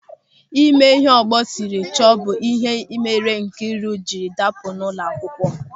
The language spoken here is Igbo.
Ịme ịhe ọgbọ sịrị chọọ bụ ịhe mere Nkịru jiri dapụ n'ụlọakwukwo.